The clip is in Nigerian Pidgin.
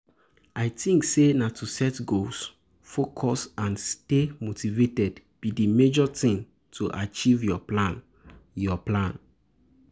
i think say na to set goals, focus and stay motivated be di major thing to achieve your plan. your plan.